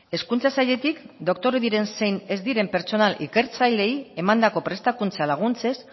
hezkuntza sailetik doktore diren zein ez diren pertsonal ikertzaileei emandako prestakuntza laguntzez